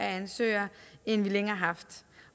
ansøgere end vi længe har haft